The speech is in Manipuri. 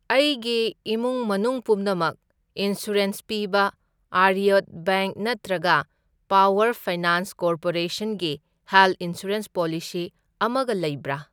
ꯑꯩꯒꯤ ꯏꯃꯨꯡ ꯃꯅꯨꯡ ꯄꯨꯝꯅꯃꯛ ꯏꯟꯁꯨꯔꯦꯟꯁ ꯄꯤꯕ ꯑꯥꯔꯌꯥꯋꯔꯠ ꯕꯦꯡꯛ ꯅꯠꯇ꯭ꯔꯒ ꯄꯥꯋꯔ ꯐꯥꯏꯅꯥꯟꯁ ꯀꯣꯔꯄꯣꯔꯦꯁꯟꯒꯤ ꯍꯦꯜꯊ ꯏꯟꯁꯨꯔꯦꯟꯁ ꯄꯣꯂꯤꯁꯤ ꯑꯃꯒ ꯂꯩꯕ꯭ꯔꯥ?